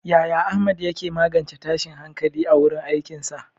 Yaya Ahmad ya ke magance tashin hankali a wurin aikinsa?